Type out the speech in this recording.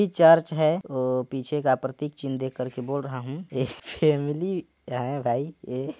इ चर्च है औ पीछे का प्रतिक चिन्ह देख कर बोल रहा हु एक फॅमिली है भाई ये--